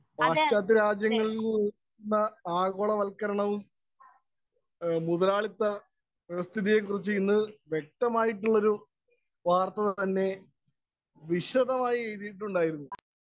Speaker 1 പാശ്ചാത്യ രാജ്യങ്ങളില്‍ നിന്നുള്ള ആഗോളവത്കരണവും, മുതലാളിത്ത വ്യവസ്ഥിതിയെ കുറിച്ച് ഇന്ന് വ്യക്തമായിട്ടൊരു വാര്‍ത്ത തന്നെ വിശദമായിട്ട് എഴുതിയിട്ടുണ്ടായിരുന്നു.